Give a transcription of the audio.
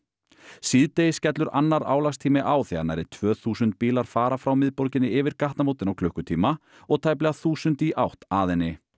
síðdegis skellur annar álagstími á þegar nærri tvö þúsund bílar fara frá miðborginni yfir gatnamótin á klukkutíma og tæplega þúsund í átt að henni